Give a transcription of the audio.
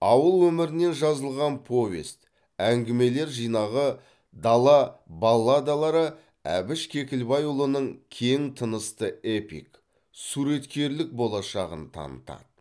ауыл өмірінен жазылған повесть әңгімелер жинағы дала балладалары әбіш кекілбайұлының кең тынысты эпик суреткерлік болашағын танытады